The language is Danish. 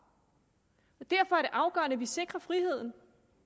derfor er det afgørende at vi sikrer friheden